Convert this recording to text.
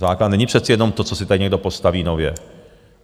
Základna není přece jenom to, co si tady někdo postaví nově.